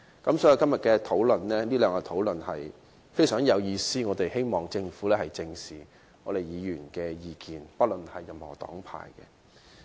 所以，昨天和今天這兩天的討論是非常有意義的，我們希望政府不論黨派，正視議員的意見。